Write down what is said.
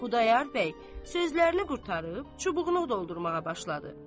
Xudayar bəy sözlərini qurtarıb, çubuğunu doldurmağa başladı.